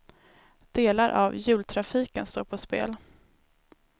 Delar av jultrafiken står på spel.